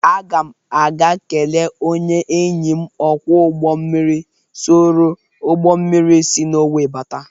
Aga m a ga-kele onye enyi m ọkwọ ụgbọ mmiri soro ụgbọ mmiri si Nọwee bata.